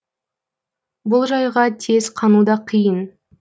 бұл жайға тез қану да қиын